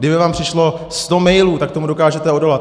Kdyby vám přišlo sto mailů, tak tomu dokážete odolat.